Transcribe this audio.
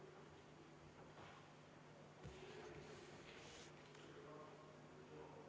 Panen hääletusele muudatusettepaneku nr 33, mille on esitanud Martin Helme, Arvo Aller ja Rain Epler.